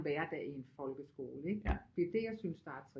Hverdag i en folkeskole ikke det er det jeg synes der